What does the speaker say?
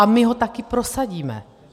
A my ho taky prosadíme.